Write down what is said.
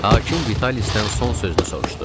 Hakim Vitalisdən son sözünü soruşdu.